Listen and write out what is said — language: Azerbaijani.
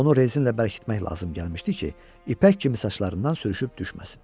Onu rezinlə bərkitmək lazım gəlmişdi ki, ipək kimi saçlarından sürüşüb düşməsin.